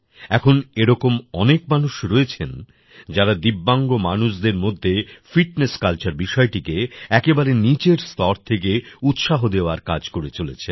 এখন এরকম অনেক মানুষ রয়েছেন যারা দিব্যাংগ মানুষদের মধ্যে ফিটনেস কালচার বিষয়টিকে একেবারে নিচের স্তর থেকে উৎসাহ দেওয়ার কাজ করে চলেছেন